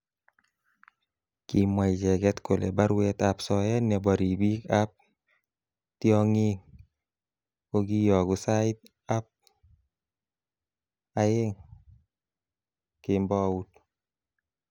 Kimwa icheket kole baruet ab soet nebo ribik ab tyongik kokiyoku sait ab aeng kmbout.